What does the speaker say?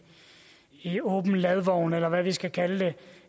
i åben ladvogn eller hvad vi skal kalde det